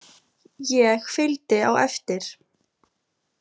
Ég fylgdi á eftir.